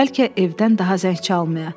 Bəlkə evdən daha zəng çalmaya.